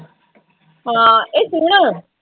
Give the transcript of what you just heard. ਹਾਂ ਇਹ ਸੁਣ